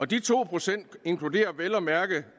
de to procent inkluderer vel at mærke